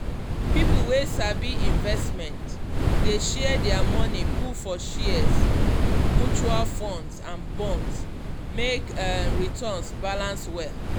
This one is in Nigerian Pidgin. people wey sabi investment dey share their money put for shares mutual funds and bonds make um returns balance well.